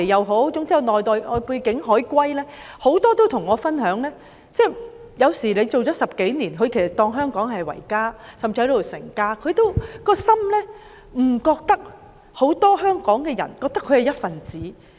許多從外地回流的"海歸"，也曾跟我分享，即使他們在香港工作了10多年，以香港為家，甚至在這裏成家，仍覺得很多香港人未有視他們為一分子。